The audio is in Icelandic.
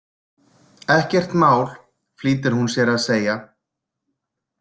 Ekkert mál, flýtir hún sér að segja.